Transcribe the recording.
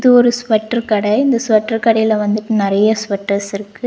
ஒரு ஸ்வட்டர் கட இந்த ஸ்வட்டர் கடைல வந்துட்டு நறைய ஸ்வட்டர்ஸ் இருக்கு.